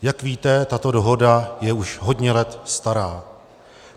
Jak vidíte, tato dohoda je už hodně let stará.